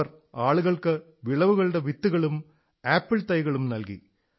അവർ ആളുകൾക്ക് വിളവുകളുടെ വിത്തുകളും ആപ്പിൾ തൈകളും നല്കി